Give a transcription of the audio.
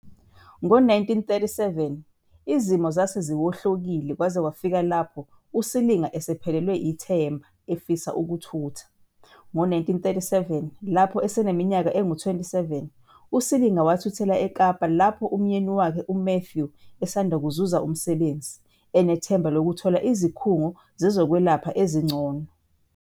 Ngo-1937, izimo zase ziwohlokile kwaze kwafika lapho uSilinga esephelelwe ithemba, efisa ukuthutha. Ngo-1937, lapho eneminyaka engu-27, uSilinga wathuthela eKapa lapho umyeni wakhe uMatthew esanda kuzuza umsebenzi, enethemba lokuthola izikhungo zezokwelapha ezingcono.